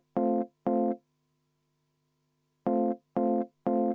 Aitäh!